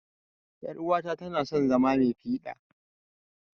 yar'uwata na son zama mai fida.